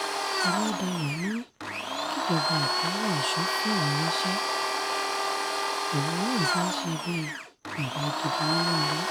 ọ̀làdáyọ̀ ni kíjọba ìpínlẹ̀ ọ̀ṣun fóun níṣẹ́ òun náà fẹ́ẹ́ ṣe bíi bàbá gidi nínú ilé